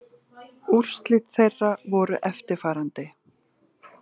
Úrslit þeirra voru eftirfarandi